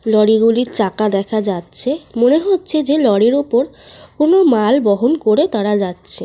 লরিগুলির চাকা দেখা যাচ্ছে। মনে হচ্ছে যে লরির ওপর কোন মাল বহন করে তারা যাচ্ছে।